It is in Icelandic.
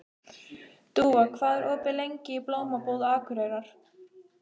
Dúfa, hvað er opið lengi í Blómabúð Akureyrar?